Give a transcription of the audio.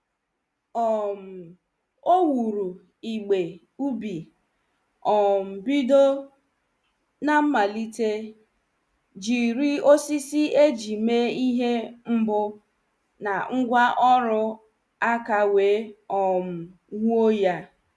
um Ọ wuru igbe ubi um bido n' mmalite jiri osisi eji mee ihe mbụ na ngwa ọrụ aka wee um wuo ya.